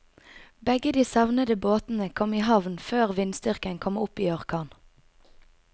Begge de savnede båtene kom i havn før vindstyrken kom opp i orkan.